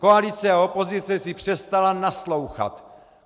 Koalice a opozice si přestaly naslouchat.